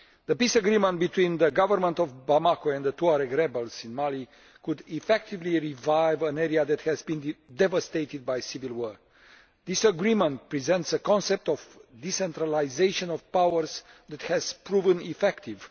The peace agreement between the government of Bamako and the Tuareg rebels in Mali could effectively revive an area that has been devastated by civil war. This agreement presents a concept of decentralisation of powers that has proven effective.